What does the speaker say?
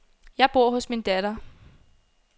Jeg bor hos min datter.